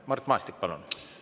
Mart Maastik, palun!